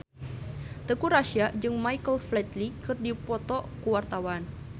Teuku Rassya jeung Michael Flatley keur dipoto ku wartawan